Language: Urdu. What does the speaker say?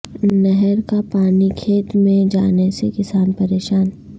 نہر کا پانی کھیت میںنہیں جانے سے کسان پریشان